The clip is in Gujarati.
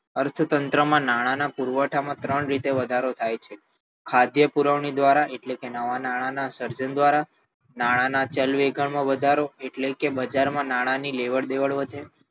અર્થતંત્રમાં નાણાંના પુરવઠામાં ત્રણ રીતે વધારો થાય છે ખાદ્ય પુરવણી દ્વારા એટલે કે નવાં નાણાંના સર્જન દ્વારા નાણાંના ચલણવેગમાં વધારો એટલે કે બજારમાં નાણાંની લેવડ દેવડ વધે